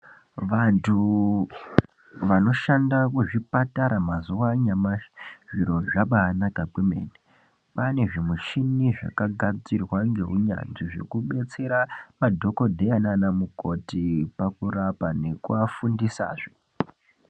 Vantu vano shanda ku zvipatara mazuva anyamashi zviro zvabai naka kwemene kwane zvi mishini zvaka gadzirwa ngeu nyanzvi zveku detsera ma dhokodheya nana mukoti paku rapa neku a fundisa zve.